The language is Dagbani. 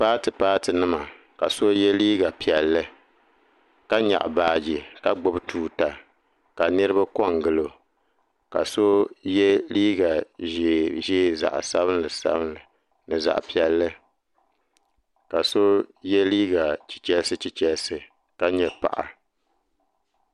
Paati paati nima ka so ye liiga piɛlli ka nyaɣi baaji ka gbibi tuuta ka niriba kongili o ka so ye liiga ʒee ʒee ni zaɣa sabinli sabinli ni zaɣa piɛlli ka so ye liiga chichelisi chichelisi ka nyɛ paɣa.